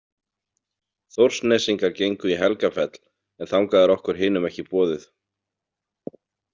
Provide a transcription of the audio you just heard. Þórsnesingar gengu í Helgafell en þangað er okkur hinum ekki boðið.